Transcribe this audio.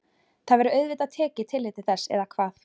Það verður auðvitað tekið tillit til þess eða hvað?